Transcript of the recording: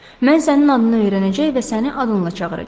Mən sənin adını öyrənəcək və səni adınla çağıracağam.